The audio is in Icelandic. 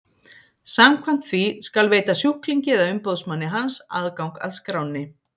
Samkvæmt því skal veita sjúklingi eða umboðsmanni hans aðgang að skránni.